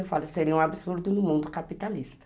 Eu falo, seria um absurdo no mundo capitalista.